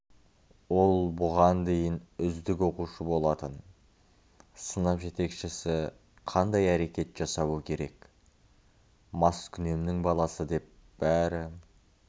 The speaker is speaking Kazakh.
ол бұған дейін үздік оқушы болатын сынып жетекшісі қандай әрекет жасауы керек маскүнемнің баласы деп бәрі